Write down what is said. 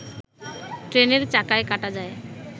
ট্রেনের চাকায় কাটা যায়